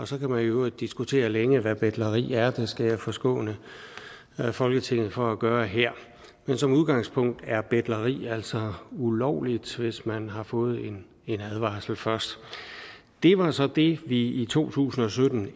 så kan man i øvrigt diskutere længe hvad betleri er men det skal jeg forskåne folketinget for at gøre her men som udgangspunkt er betleri altså ulovligt hvis man har fået en advarsel først det var så det vi ændrede i to tusind og sytten